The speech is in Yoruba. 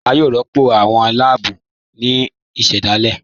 À yòó rọ́pọ̀ awọn bẹẹ̀tù ní lààbù ìṣẹ̀dáilé